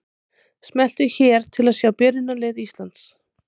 Smelltu hér til að sjá byrjunarlið Íslands.